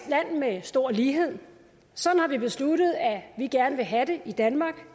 land med stor lighed sådan har vi besluttet at vi gerne vil have det i danmark